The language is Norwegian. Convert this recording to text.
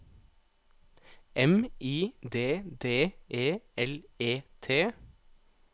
M I D D E L E T